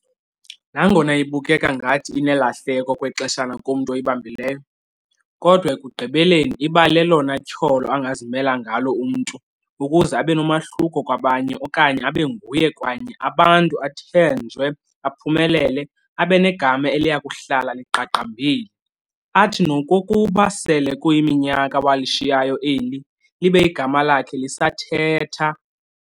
Nangona ibukeka ngathi inelahleko okwexeshana kumntu oyibambileyo, kodwa ekugqibeleni iba lelona tyholo angazimela ngalo umntu, ukuze abenomahluko kwabanye okanye abenguye kwanye abantu, athenjwe, aphumelele, abe negama eliyakuhlala liqaqambile, athi nokokuba sele kuyiminyaka walishiyayo eli, libe igama lakhe lakhe lisathetha.